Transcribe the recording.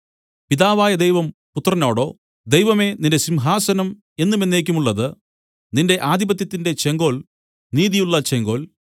പിതാവായ ദൈവം പുത്രനോടോ ദൈവമേ നിന്റെ സിംഹാസനം എന്നും എന്നേക്കുമുള്ളത് നിന്റെ ആധിപത്യത്തിന്റെ ചെങ്കോൽ നീതിയുള്ള ചെങ്കോൽ